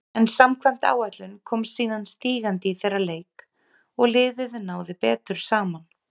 En samkvæmt áætlun kom síðan stígandi í þeirra leik og liðið náði betur saman.